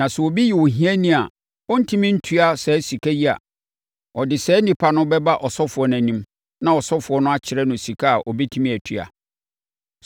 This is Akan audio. Na sɛ obi yɛ ohiani a ɔrentumi ntua saa sika yi a, ɔde saa onipa no bɛba ɔsɔfoɔ anim, na ɔsɔfoɔ no akyerɛ no sika a ɔbɛtumi atua.